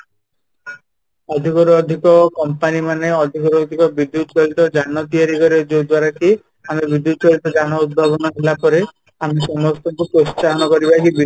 ଅଧିକରୁ ଅଧିକ କମ୍ପାନୀ ମାନେ ଅଧିକ ରୁ ଅଧିକ ବିଦ୍ୟୁତ ଚାଳିତ ଯାନ ତିଆରି କରିବା ଯୋଉ ଦ୍ୱାରା କି ଆମେ ବିଦ୍ୟୁତ ଚାଳିତ ଯାନ ଉଦ୍ଭାବନ ହେଲା ପରେ ଆମେ ସମସ୍ତଙ୍କୁ ପ୍ରୋତ୍ସାହନ କରିବା କି